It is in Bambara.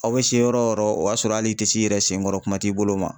Aw bɛ se yɔrɔ o yɔrɔ o b'a sɔrɔ hali i t'i yɛrɛ senkɔrɔ kuma t'i bolo ma